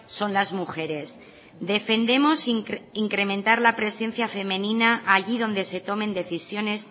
son las mujeres defendemos incrementar la presencia femenina allí donde se tomen decisiones